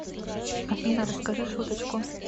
афина расскажи шуточку